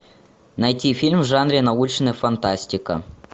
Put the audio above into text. найти фильм в жанре научная фантастика